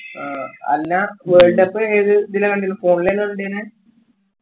അല്ലാ world cup ഏതിലാ കണ്ടിന്ലാ phone ലാ കണ്ടിന്നെ